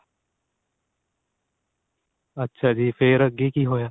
ਅੱਛਾ ਜੀ ਫੇਰ ਅੱਗੇ ਕੀ ਹੋਇਆ.